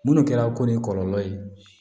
Munnu kɛra ko ni kɔlɔlɔ ye